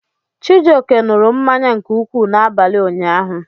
Chijioke ṅụrụ mmanya nke ukwuu n'abalị ụnyaahụ